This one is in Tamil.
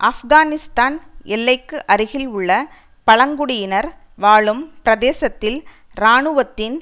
ஆப்கானிஸ்தான் எல்லைக்கு அருகில் உள்ள பழங்குடியினர் வாழும் பிரதேசத்தில் இராணுவத்தின்